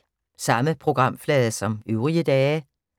Samme programflade som øvrige dage